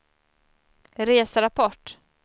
reserapport